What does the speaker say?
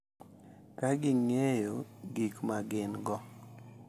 Ka ging’eyo gik ma gin-go,